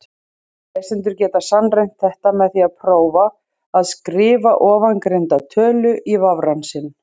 Lesendur geta sannreynt þetta með því að prófa að skrifa ofangreinda tölu í vafrann sinn.